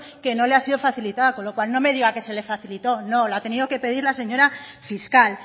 que no le ha sido facilitada con lo cual no me diga que se le facilito no la ha tenido que pedir la señora fiscal